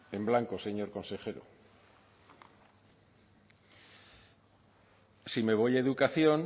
en blanco señor consejero sí me voy a educación